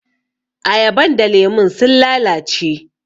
Ayaban da lemun sun lalace.